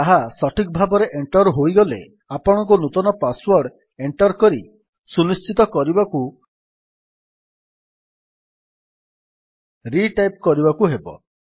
ତାହା ସଠିକ୍ ଭାବରେ ଏଣ୍ଟର୍ ହୋଇଗଲେ ଆପଣଙ୍କୁ ନୂତନ ପାସ୍ ୱର୍ଡ ଏଣ୍ଟର୍ କରି ସୁନିଶ୍ଚିତ କରିବାକୁ ରିଟାଇପ୍ କରିବାକୁ ହେବ